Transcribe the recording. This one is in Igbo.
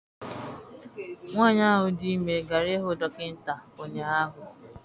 Nwaanyi ahụ dị ime gara ihụ dọkịta ụnyaahụ.